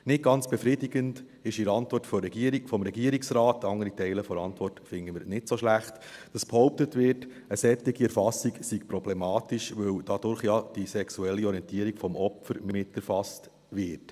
Nicht ganz befriedigend ist in der Antwort des Regierungsrates, andere Teile der Antwort finden wir nicht so schlecht, dass behauptet wird, eine solche Erfassung sei problematisch, weil dadurch ja die sexuelle Orientierung des Opfers miterfasst werde.